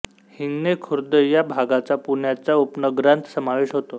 हिंगणे खुर्द या भागाचा पुण्याच्या उपनगरांत समावेश होतो